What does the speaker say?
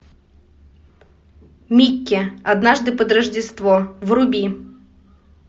микки однажды под рождество вруби